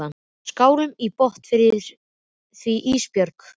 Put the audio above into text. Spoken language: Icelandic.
Skálum í botn fyrir því Ísbjörg.